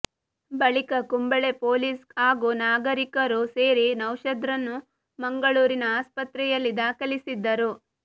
ಬಳಿಕ ಕುಂಬಳೆ ಪೊಲೀಸ್ ಹಾಗೂ ನಾಗರಿಕರು ಸೇರಿ ನೌಶಾದ್ರನ್ನು ಮಂಗಳೂರಿನ ಆಸ್ಪತ್ರೆಯಲ್ಲಿ ದಾಖಲಿಸಿದ್ದರು